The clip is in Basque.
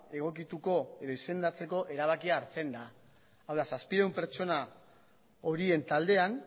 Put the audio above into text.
egokituko edo izendatzeko erabakia hartzen da hau da zazpiehun pertsona horien taldean